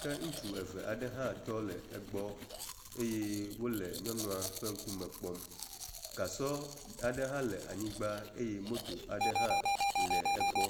ke ŋutsu eve aɖe hã tɔ le egbɔ eye wo le nyɔnua ƒe ŋkume kpɔm. gasɔ aɖe hã le anyigba eye moto aɖe hã le egbɔ.